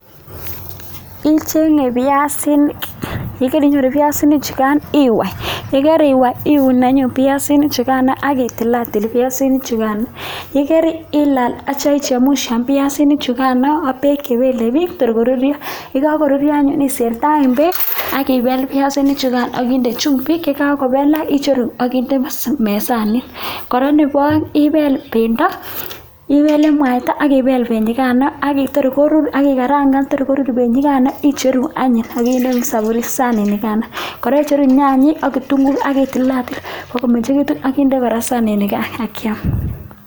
Ichenge biasinik yekarinyoru biasinik chugan iwai ak yikariwai iun anyun biasinik chugan akitilatil biasinik chukan yekarilal akichemushan biasinik chukan ak bek chebelebik bakorurio ak yikakoturio anyun isertaen bek biasinik chugan akikel akinde chumbik akitya icheru akinde mesanin akoraa Nebo aeng ibel bendo ibele mwaita akibel benyikano Kotor korur Kotor ikarangan Kotor korur benyikano akicheru anyun akinde sanit nikano kora yache icheru nyanyik ak ketunguiyot akitilatil kotar komengegitun akinde sanit nikano akiam